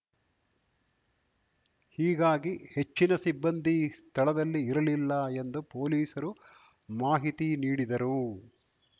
ಹೀಗಾಗಿ ಹೆಚ್ಚಿನ ಸಿಬ್ಬಂದಿ ಸ್ಥಳದಲ್ಲಿ ಇರಲಿಲ್ಲ ಎಂದು ಪೊಲೀಸರು ಮಾಹಿತಿ ನೀಡಿದರು